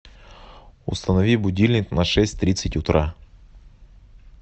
установи будильник на шесть тридцать утра